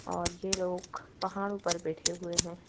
और ये लोग पहाड़ ऊपर बैठे हुए हैं।